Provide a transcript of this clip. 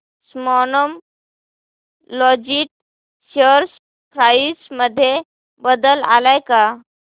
Snowman logistics share price मध्ये बदल आलाय का